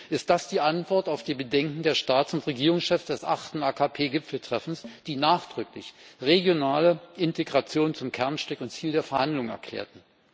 Ist das die Antwort auf die Bedenken der Staats und Regierungschefs des achten AKP Gipfeltreffens, die nachdrücklich regionale Integration zum Kernstück und Ziel der Verhandlungen erklärten?